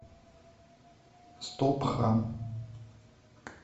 стопхам